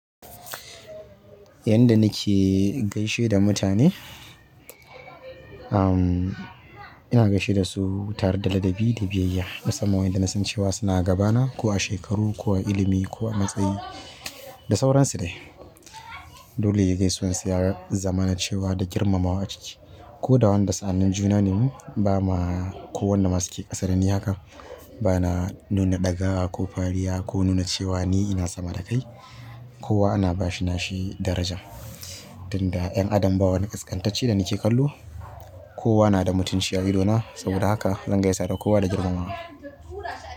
Yanda nike gaishe da mutane, amm, ina gaishe dasu tare da ladabi da biyayya. Musamman wa'inda nasan cewa suna gabana ko a shekaru, ko a ilimi, ko a matsayi, da sauransu ne. Dole gaisuwan su ya zamana cewa da girmamawa a ciki. Ko da wanda sa'anin juna ne mu bama, ko wanda ma suke ƙasa dani haka, bana nuna ɗagawa ko fariya ko nuna cewa ni ina sama da kai. Kowa ana ba shi nashi daraja. Tunda 'yan adam ba wani ƙasƙantacce da nike kallo, kowa na da mutunci a ido na. Saboda haka zan gaisa da kowa da girmamawa.